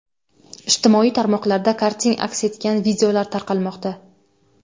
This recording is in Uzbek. Ijtimoiy tarmoqlarda karting aks etgan videolar tarqalmoqda.